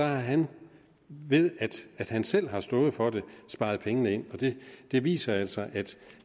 har han ved at han selv har stået for det sparet pengene ind det viser altså at